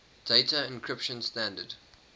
data encryption standard